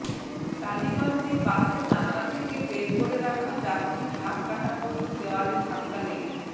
টালিগঞ্জে বাসের জানলা থেকে বের করে রাখা যাত্রীর হাত কাটা পড়ল দেওয়ালে ধাক্কা লেগে